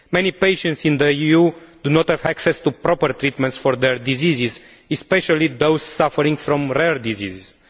Many patients in the EU do not have access to proper treatment for diseases, especially those suffering from rare diseases.